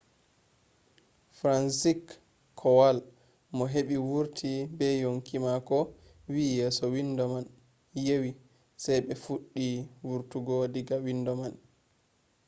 fransizek kowal mo heɓi wurti be yonki mako wi yeso windo man yewi sai ɓe fuɗɗi wurtugo diga windo man.